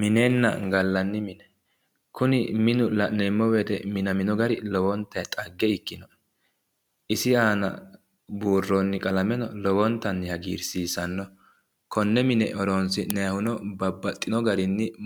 Minenna gallanni mine. Kuni minu minamino gari dhagge ikkannoe. Isi aana buurroonni qalameno lowontanni hagiirsiisanno. Konne mine horonsi'nayihuno